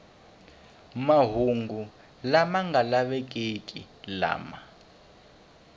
mahungu lama nga lavekeki lama